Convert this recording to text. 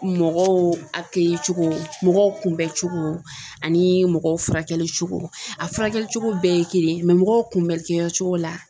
Mɔgɔw cogo, mɔgɔw kunbɛn cogo ani mɔgɔw furakɛli cogo, a furakɛli cogo bɛɛ ye kelen ye mɔgɔw kunbɛnni kɛ yɔrɔ la